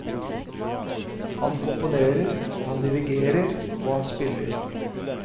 Han komponerer, han dirigerer og han spiller.